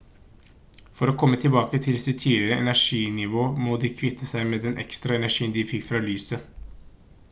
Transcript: for å komme tilbake til sitt tidligere energinivå må de kvitte seg med den ekstra energien de fikk fra lyset